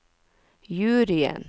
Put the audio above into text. juryen